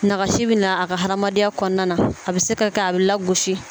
Nagasi bɛ na a ka hamadenya kɔnɔna na a bɛ se ka kɛ a bɛ lagosi